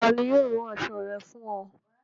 Tani yio rán aṣọ̣ rẹ̀ fún o?